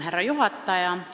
Härra juhataja!